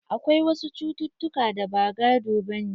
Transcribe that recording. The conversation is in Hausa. Akwai wasu cucutuka da ba gado bane.